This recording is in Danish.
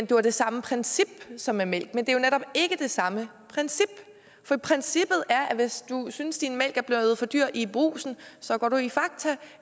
det var det samme princip som med mælk men det er jo netop ikke det samme princip for princippet er at hvis du synes at din mælk er blevet for dyr i brugsen så går du i fakta